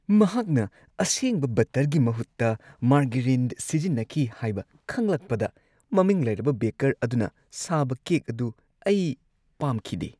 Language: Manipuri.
ꯃꯍꯥꯛꯅ ꯑꯁꯦꯡꯕ ꯕꯠꯇꯔꯒꯤ ꯃꯍꯨꯠꯇ ꯃꯥꯔꯒꯔꯤꯟ ꯁꯤꯖꯤꯟꯅꯈꯤ ꯍꯥꯏꯕ ꯈꯪꯂꯛꯄꯗ ꯃꯃꯤꯡ ꯂꯩꯔꯕ ꯕꯦꯀꯔ ꯑꯗꯨꯅ ꯁꯥꯕ ꯀꯦꯛ ꯑꯗꯨ ꯑꯩ ꯄꯥꯝꯈꯤꯗꯦ꯫